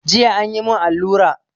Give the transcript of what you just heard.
Jiya an yi mun alura